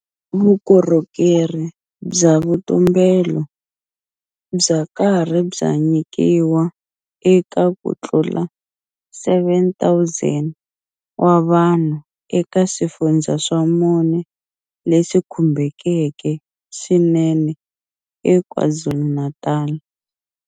Vukorhokerhi bya vutumbelo bya karhi bya nyikiwa eka ku tlula 7,000 wa vanhu eka swifundza swa mune leswi khumbekeke swinene eKwaZulu-Natal.